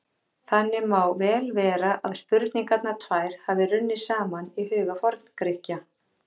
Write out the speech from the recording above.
Þannig má vel vera að spurningarnar tvær hafi runnið saman í huga Forngrikkja.